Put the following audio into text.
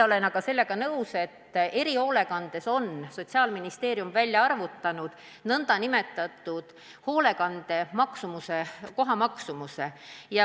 Mis puutub erihoolekandesse, siis Sotsiaalministeerium on välja arvutanud nn hoolekande maksumuse, koha maksumuse.